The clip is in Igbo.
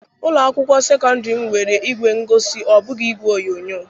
Ụlọ akwụkwọ sekọndrị m nwere ìgwè ngosi, ọ bụghị igwe onyonyo.